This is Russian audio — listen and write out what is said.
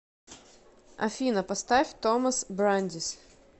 афина поставь томас брандис